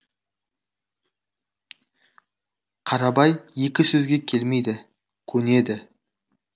қарабай екі сөзге келмейді көнеді